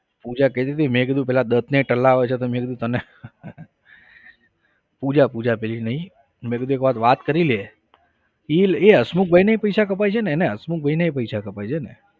પૂજા કહેતી હતી મેં કીધું પેલા દત્તને ટલ્લાવે છે તો મેં કીધું તો તને પૂજા પૂજા પેલી નહિ મેં કીધું એકવાર વાત કરી લે એ હસમુખભાઈને પૈસા કપાય છે ને એને હસમુખભાઈને પૈસા કપાય છે ને